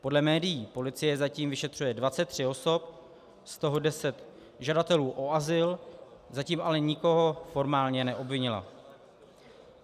Podle médií policie zatím vyšetřuje 23 osob, z toho 10 žadatelů o azyl, zatím ale nikoho formálně neobvinila.